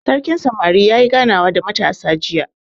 Sarkin samari yayi ganawa da matasa jiya.